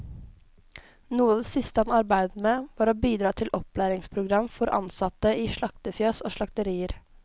Noe av det siste han arbeidet med, var å bidra til et opplæringsprogram for ansatte i slaktefjøs og slakterier.